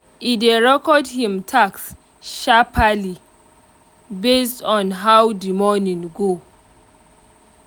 e dey record him task sharpaly based on how the morning go